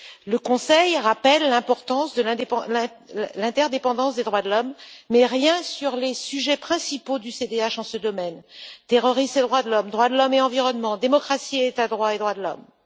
Le Conseil rappelle l'importance de l'interdépendance des droits de l'homme, mais rien sur les sujets principaux du CDH en ce domaine terroristes et droits de l'homme, droits de l'homme et environnement, démocratie et état de droit et droits de l'homme.